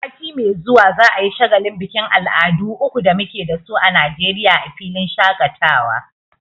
Sati mai zuwa za'a yi shagalin bikin al'adu uku da muke dasu a Najeriya a filin shaƙatawa.